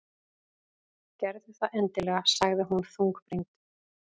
Gerðu það endilega- sagði hún þungbrýnd.